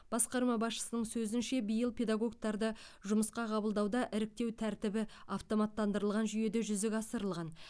басқарма басшысының сөзінше биыл педагогтарды жұмысқа қабылдауда іріктеу тәртібі автоматтырылған жүйеде жүзеге асырылған